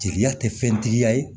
Jeliya tɛ fɛntigiya ye